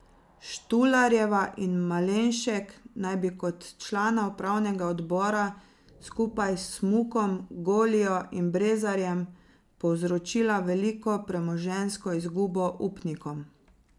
Štularjeva in Malenšek naj bi kot člana upravnega odbora skupaj s Smukom, Golijo in Brezarjem povzročila veliko premoženjsko izgubo upnikom.